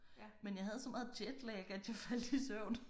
Men jeg havde så meget jet lag at jeg faldt i søvn